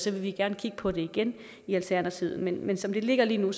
vil vi gerne kigge på det igen i alternativet men som det ligger lige nu